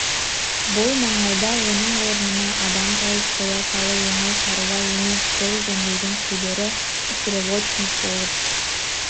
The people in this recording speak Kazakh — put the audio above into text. бұл маңайда оның орнына адам тауып қоя салу оңай шаруа емес жол жөндеудің шебері стрелочник болып